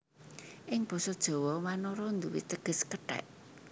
Ing Basa Jawa wanara nduwé teges kethèk